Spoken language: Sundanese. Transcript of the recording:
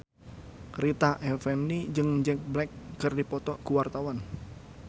Rita Effendy jeung Jack Black keur dipoto ku wartawan